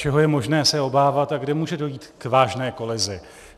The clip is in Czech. Čeho je možné se obávat a kde může dojít k vážné kolizi.